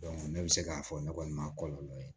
ne bɛ se k'a fɔ ne kɔni ma kɔlɔlɔ ye